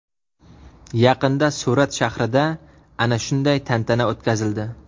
Yaqinda Surat shahrida ana shunday tantana o‘tkazildi.